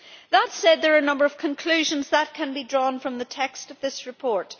That said, there are a number of conclusions that can be drawn from the text of this report.